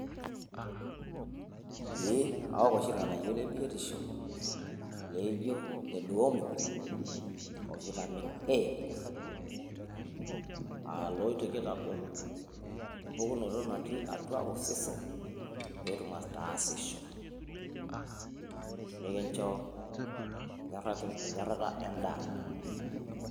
Eeh, awok oshi ilng'anayio le biotisho leijo ile deworming o vitamin A, aa iloitoki aitagol empukunoto natii atua osesen peetum ataasisho, nikincho enyorrata endaa.